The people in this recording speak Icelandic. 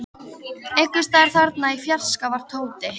Einhvers staðar þarna í fjarska var Tóti.